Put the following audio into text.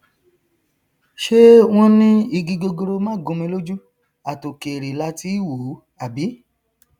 ṣé wọn ní igi gogoro má gúnmi lójú àtòkèrè làá tí í wòó àbí